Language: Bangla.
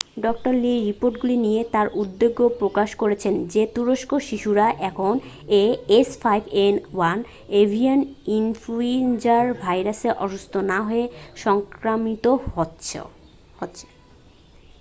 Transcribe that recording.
ডাঃ লি রিপোর্টগুলি নিয়ে তার উদ্বেগ প্রকাশ করেছেন যে তুরস্কের শিশুরা এখন ah5n1 এভিয়ান ইনফ্লুয়েঞ্জা ভাইরাসে অসুস্থ না হয়ে সংক্রামিত হচ্ছে।